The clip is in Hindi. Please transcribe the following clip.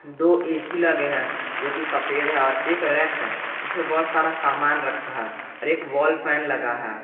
दो ऐ_सी लगे हैं जो कि सफेद हैं और एक रैक है जिसपे बहुत सारा सामान रखा है और एक वॉल फैन लगा है।